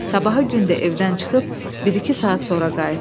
Sabahı gün də evdən çıxıb bir-iki saat sonra qayıtdı.